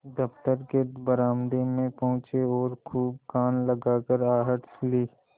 दफ्तर के बरामदे में पहुँचे और खूब कान लगाकर आहट ली